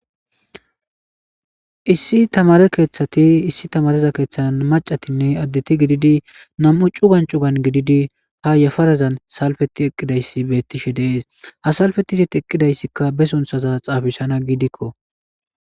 Issi tamaare keeththati issi tamaareza keeththan maccatinne addeti gididi nam7u cugan cugan gididi ha yaparazan salpetti eqqidaysi beettees. Ha salppetti isti eqqidaysikka be sunthaza xaafisana giidikko.